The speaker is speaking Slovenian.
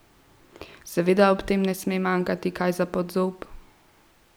Seveda ob tem ne sme manjkati kaj za pod zob!